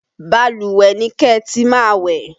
Balùwẹ̀ ni kẹ́ ẹ ti máa wẹ̀!